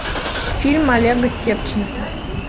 фильм олега степченко